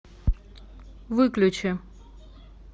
выключи